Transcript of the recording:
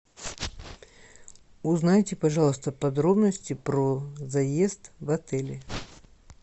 узнайте пожалуйста подробности про заезд в отель